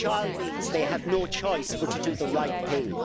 Shall' means they have no choice but to do the right thing.